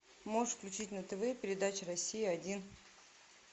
можешь включить на тв передача россия один